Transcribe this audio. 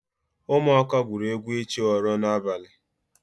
Ụmụaka gwụrụ egwu ịchụ oro n'abalị